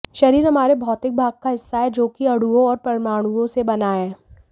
शरीर हमारे भौतिक भाग का हिस्सा है जो कि अणुओं और परमाणुओं से बना है